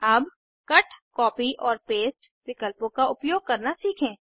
अब cut copy और paste विकल्पों का उपयोग करना सीखें